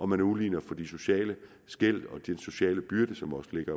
man udligner for de sociale skel og de sociale byrder som også ligger